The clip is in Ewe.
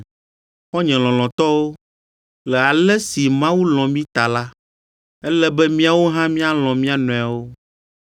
Xɔ̃nye lɔlɔ̃tɔwo, le ale si Mawu lɔ̃ mí ta la, ele be míawo hã míalɔ̃ mía nɔewo.